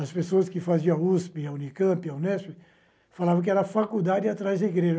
As pessoas que faziam USP, a UNICAMP, a UNESP falavam que era faculdade atrás da igreja.